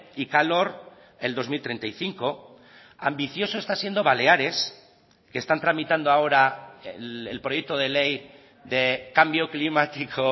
y calor el dos mil treinta y cinco ambicioso está siendo baleares que están tramitando ahora el proyecto de ley de cambio climático